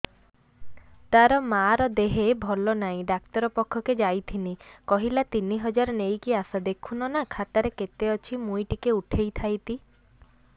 ତାର ମାର ଦେହେ ଭଲ ନାଇଁ ଡାକ୍ତର ପଖକେ ଯାଈଥିନି କହିଲା ତିନ ହଜାର ନେଇକି ଆସ ଦେଖୁନ ନା ଖାତାରେ କେତେ ଅଛି ମୁଇଁ ଟିକେ ଉଠେଇ ଥାଇତି